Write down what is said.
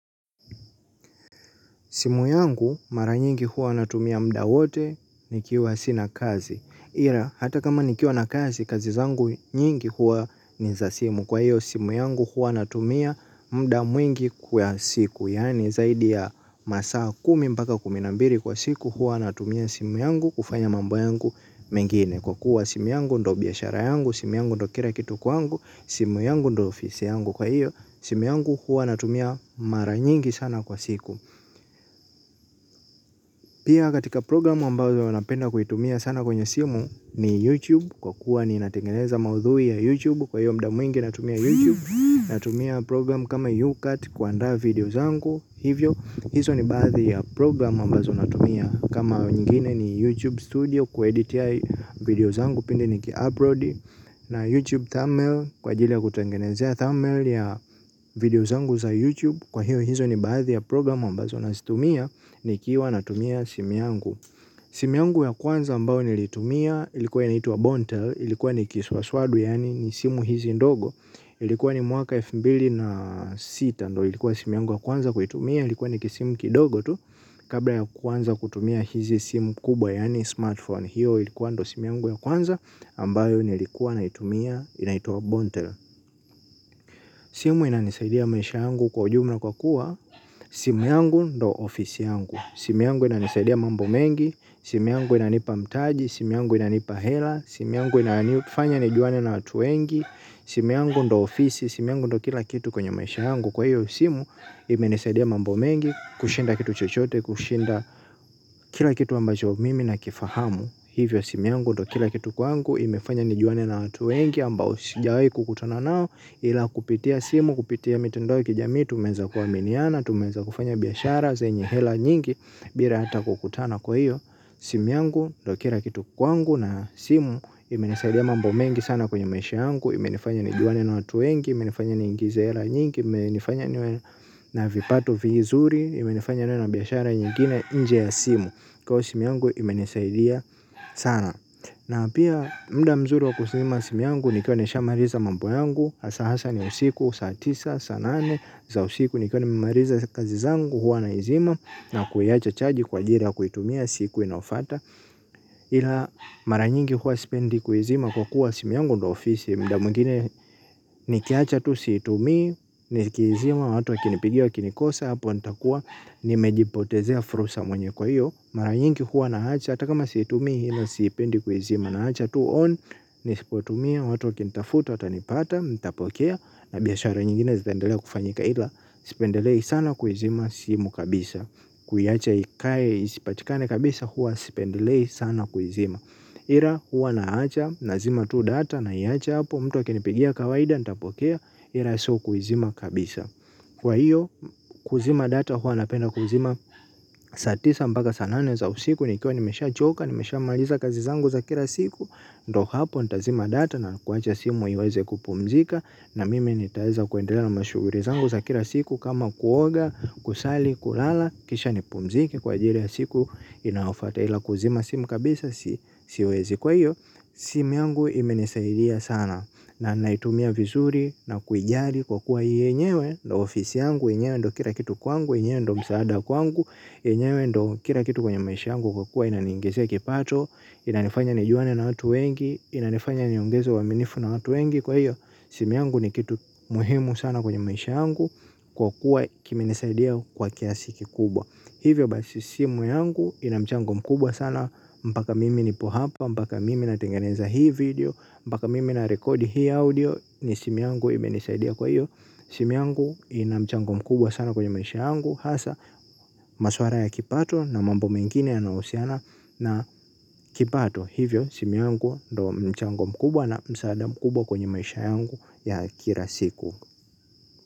Simu yangu mara nyingi huwa natumia muda wote ni kiwa sina kazi. Ila, hata kama nikiwa na kazi, kazi zangu nyingi huwa ni za simu. Kwa hiyo, simu yangu huwa natumia muda mwingi kwa siku. Yaani, zaidi ya masaa kumi mpaka kuminambili kwa siku, huwa natumia simu yangu kufanya mambo yangu mengine. Kwa kuwa simu yangu ndo biashara yangu, simu yangu ndo kila kitu kwangu, simu yangu ndo ofisi yangu. Kwa hiyo, simu yangu huwa natumia mara nyingi sana kwa siku. Pia katika programu ambazo huwa napenda kuitumia sana kwenye simu ni YouTube kwa kuwa ni natengeneza maudhui ya YouTube kwa hiyo muda mwingi natumia YouTube natumia programu kama YouCut kuandaa video zangu hivyo hizo ni baadhi ya programu ambazo natumia kama nyingine ni YouTube Studio kueditia video zangu pindi niki upload na YouTube thumbnail kwa ajili ya kutengenezea thumbnail ya video zangu za YouTube kwa hiyo hizo ni baadhi ya programu ambazo nazitumia. Nikiwa na tumia simu yangu. Simu yangu ya kwanza ambayo nilitumia ilikuwa inaitwa Bontel. Ilikuwa nikiswaswadu yaani ni simu hizi ndogo. Ilikuwa ni mwaka elfu mbili na sita. Ndo ilikuwa simu yangu ya kwanza kuitumia. Ilikuwa nikisimu kidogo tu. Kabla ya kuanza kutumia hizi simu kubwa yaani smartphone. Hiyo ilikuwa ndo simu yangu ya kwanza ambayo nilikuwa na itumia inaitwa Bontel. Simu inanisaidia maisha yangu kwa ujumla kwa kuwa simu yangu ndo ofisi yangu. Simu yangu ina nisaidia mambo mengi, simi yangu ina nipa mtaji, sim yangu ina nipa hela, simu yangu ina nifanya nijuane na watu wengi, simu yangu ndo ofisi, simu yangu ndo kila kitu kwenye maisha yangu. Kwa hiyo simu, ime nisaidia mambo mengi, kushinda kitu chochote, kushinda kila kitu ambacho mimi na kifahamu. Hivyo simu yangu ndokila kitu kwangu imefanya ni juane na watu wengi ambao sijawahi kukutana nao ila kupitia simu kupitia mitandao ya kijamii tumeweza kuaminiana tumeweza kufanya biashara zenye hela nyingi bila hata kukutana kwa hiyo simu yangu ndokila kitu kwangu na simu imenisaidia mambo mengi sana kwenye maisha yangu imenifanya ni juane na watu wengi imenifanya ni ingize hela nyingi imenifanya niwe na vipato vizuri imenifanya niwe na biashara nyingine nje ya simu. Kwa ivo simu yangu imenisaidia sana. Na pia muda mzuri wa kuzima simu yangu nikiwa nimemaliza mambo yangu hasa hasa ni usiku, saa tisa, saa nane za usiku nikiwa nimemaliza kazi zangu huwa na izima. Na kuiacha chaji kwa ajili ya kuitumia siku inayofuata. Ila maranyingi huwa sipendi kuizima kwa kuwa simu yangu ndo ofisi. Muda mwingine nikiacha tu siitumii nikiizima watu wakinipigia wakinikosa hapo nitakuwa nimejipotezea fursa mwenyewe kwa hiyo mara nyingi huwa nawacha hata kama siitumii ila sipendi kuizima nawacha tu on nisipotumia watu wakinitafuta watanipata nitapokea na biashara nyingine zitaendelea kufanyika ila sipendelei sana kuizima simu kabisa kuiwacha ikae isipatikane kabisa huwa sipendelei sana kuizima ila huwa nawacha nazima tu data naiacha hapo mtu akinipigia kawaida nitaipokea ila siku izima kabisa kwa hiyo kuzima data huwa napenda kuzima saa tisa mpaka saa nane za usiku nikiwa nimeshachoka nimeshamaliza kazi zangu za kila siku ndo hapo nitazima data na kuwache simu iweze kupumzika na mimi nitaweza kuendelea na mashughuli zangu za kila siku kama kuoga kusali kulala kisha nipumzike kwa ajili ya siku inayofuata ila kuzima simu kabisa siwezi kwa hiyo simu yangu imenisaidia sana na naitumia vizuri na kuijali kwa kuwa yenyewe ndio ofisi yangu yenyewe ndio kila kitu kwangu yenyewe ndio msaada kwangu yenyewe ndio kila kitu kwa maisha yangu kwa kuwa ndio inaniingizia mapato inanifanya nijuane na watu wengi inanifanya niongeze uaminifu na watu wengi kwa hiyo simu yangu ni kitu muhimu sana kwenye maisha yangu kwa kuwa kimenisaidia kwa kiasi kikubwa hivyo basi simu yangu ina mchango mkubwa sana mpaka mimi nipo hapa mpaka mimi natengeneza hii video mpaka mimi narekodi hii audio ni simu yangu imenisaidia kwa hiyo simu yangu ina mchango mkubwa sana kwa maisha yangu hasa maswala ya kipato na mambo mengine ya nahusiana na kipato hivyo simu yangu ndo mchango mkubwa na msaada mkubwa kwenye maisha yangu ya kila siku.